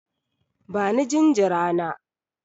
Bani jinjira na!